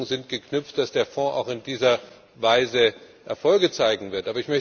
Die Hoffnungen sind geknüpft, dass der Fonds auch in dieser Weise Erfolge zeigen wird.